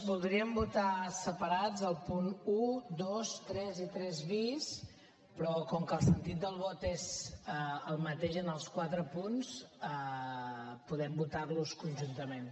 voldríem votar separats els punts un dos tres i tres bis però com que el sentit del vot és el mateix en els quatre punts podem votar los conjuntament